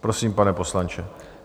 Prosím, pane poslanče.